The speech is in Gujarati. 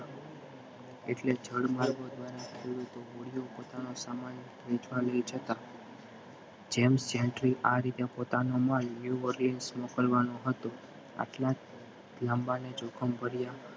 એટલે જળ માર્ગ દ્વારા જેમ્સ જેનટલી આ રીતે પોતાનો પોતાના માલ મોકલવાનો હતો આટલા લાંબા અને જોખમ ભરીયા